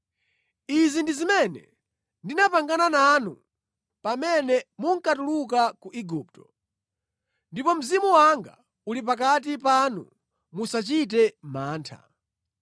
‘Izi ndi zimene ndinapangana nanu pamene munkatuluka ku Igupto. Ndipo Mzimu wanga uli pakati panu. Musachite mantha.’